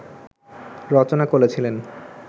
রচনা করেছিলেন